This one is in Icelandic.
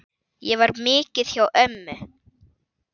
Ég var mikið hjá ömmu.